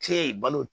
Kile balo